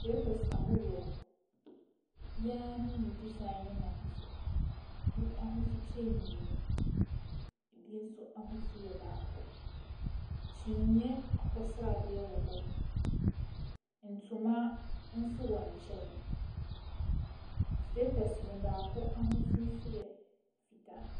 Slippers ahoroɔ. Ebiara ne ne design ne n'ahosuo. Ebi ahosu kyɛn mmienu, ebi nso ahosu yɛ baako. Kyiniiɛ akokɔ sradeɛ wɔ hɔ. Ntoma nso wɔ nkyɛn. Slippers no mu, baako ahosu nso yɛ fitaa.